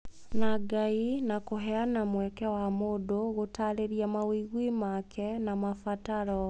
na Ngai na kũheana mweke wa mũndũ gũtarĩria mawĩgwi make na mabataro.